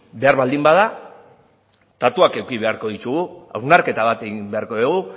behar baldin bada datuak eduki beharko ditugu hausnarketa bat egin beharko dugu